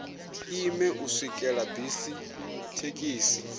ime u swikela bisi thekhisi